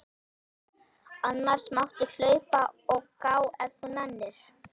Annars máttu hlaupa og gá ef þú nennir.